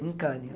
Em Cannes.